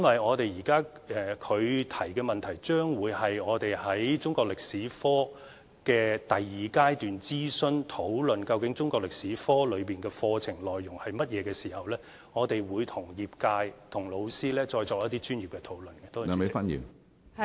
他的跟進質詢是涉及當局將展開的中國歷史科第二階段諮詢，屆時我們會與業界、老師就中國歷史科應包括甚麼課程內容，再作一些專業的討論。